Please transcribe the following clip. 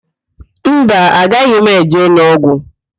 Mba, agaghị m eje ụlọọgwụ.